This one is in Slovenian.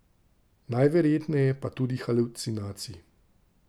Najverjetneje pa tudi halucinacij.